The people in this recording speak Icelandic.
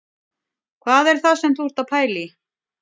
Hvað er það sem þú ert að pæla í